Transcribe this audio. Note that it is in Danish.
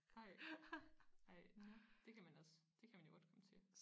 Ej ej det kan man også det kan man jo godt komme til